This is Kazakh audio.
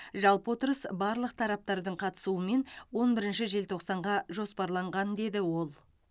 жалпы отырыс барлық тараптардың қатысуымен он бірінші желтоқсанға жоспарланған деді ол